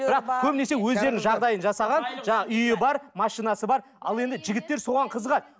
бірақ көбінесе өздерінің жағдайын жасаған жаңа үйі бар машинасы бар ал енді жігіттер соған қызығады